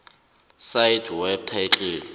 cite web title